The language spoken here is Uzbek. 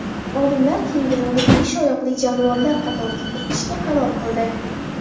Olimlar kenguruni besh oyoqli jonivorlar qatoriga kiritishga qaror qildi.